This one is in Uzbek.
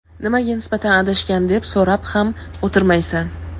nimaga nisbatan adashgan deb so‘rab ham o‘tirmaysan.